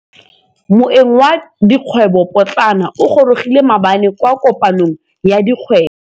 Moêng wa dikgwêbô pôtlana o gorogile maabane kwa kopanong ya dikgwêbô.